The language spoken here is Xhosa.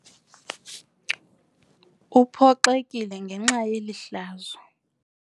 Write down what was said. Uphoxekile ngenxa yeli hlazo.